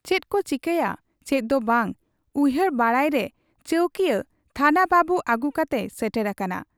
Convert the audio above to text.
ᱪᱮᱫᱠᱚ ᱪᱤᱠᱟᱹᱭᱟ ᱪᱮᱫ ᱫᱚ ᱵᱟᱝ ᱩᱭᱦᱟᱹᱨ ᱵᱟᱲᱟᱭᱮᱫᱨᱮ ᱪᱟᱹᱣᱠᱤᱭᱟᱹ ᱛᱷᱟᱱᱟ ᱵᱟᱹᱵᱩ ᱟᱹᱜᱩ ᱠᱟᱛᱮᱭ ᱥᱮᱴᱮᱨ ᱟᱠᱟᱱᱟ ᱾